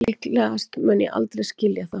Líklegast mun ég aldrei skilja það